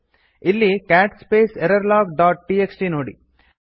ಇಲ್ಲಿ cat space error log dot TXT ನೋಡಿ